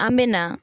An me na